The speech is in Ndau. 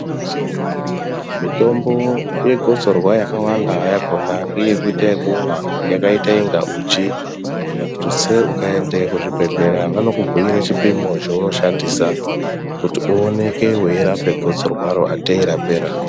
Mitombo yegotsorwa yakawanda yakona ngeyekuita yekumwa yakaita inga uchi. Tutse, ukaende kuzvibhedhlera vanokubhuyire chipimo chaunoshandisa kuti uoneke weirape gotsorwaro atei rapera.